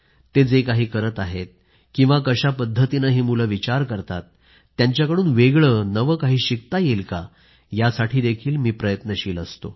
ते जे काही करत आहेत किंवा कशा पद्धतीने ही मुलं विचार करतात त्यांच्याकडून वेगळं नवं काही शिकता येईल का यासाठी मी नेहमी प्रयत्नशील असतो